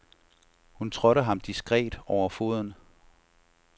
Hun trådte ham diskret over foden.